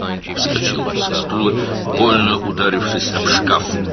O, stuldan sıçrayıb, şkafa ağrılı şəkildə dəyərək.